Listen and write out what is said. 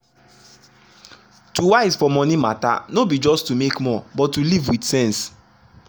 to wise for money matter no be just to make more but to live with sense.